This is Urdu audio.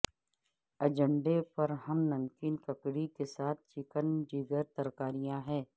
ایجنڈے پر ہم نمکین ککڑی کے ساتھ چکن جگر ترکاریاں ہے